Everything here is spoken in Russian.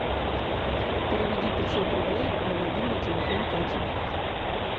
переведи пятьсот рублей на мобильный телефон кати